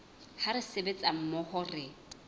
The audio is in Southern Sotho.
ha re sebetsa mmoho re